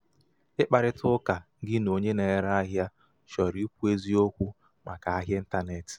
ịkparịta ụka gị na onye na-ere ahịa chọrọ ikwu eziokwu màkà ahịa ịntanetị.